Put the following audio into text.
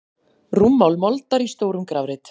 Rúmmál moldar í stórum grafreit.